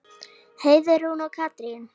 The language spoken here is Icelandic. Heiðrún og Katrín.